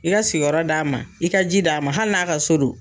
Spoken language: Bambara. I ka sigiyɔrɔ d'a ma, i ka ji d'a ma, hali n'a ka so don.